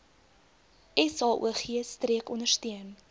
saog streek ondersteun